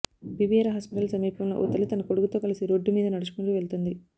BBR hospital సమీపంలో ఓ తల్లి తన కొడుకుతో కలిసి రోడ్డు మీద నడుచుకుంటూ వెళ్తోంది